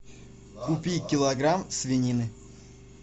купи килограмм свинины